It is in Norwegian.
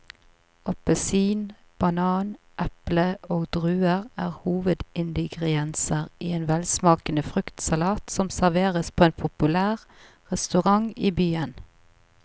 Appelsin, banan, eple og druer er hovedingredienser i en velsmakende fruktsalat som serveres på en populær restaurant i byen.